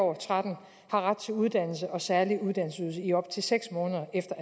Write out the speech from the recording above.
og tretten har ret til uddannelse og særlig uddannelsesydelse i op til seks måneder efter